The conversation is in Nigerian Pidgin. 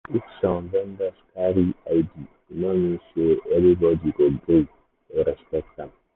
even if some vendors carry id e no mean say everybody go gree or respect am.